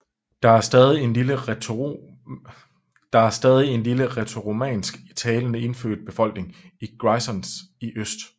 Der er stadig en lille rætoromansk talende indfødt befolkning i Grisons i øst